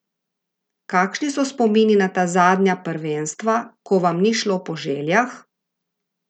Kakšni so spomini na ta zadnja prvenstva, ko vam ni šlo po željah?